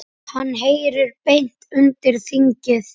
Hann heyri beint undir þingið.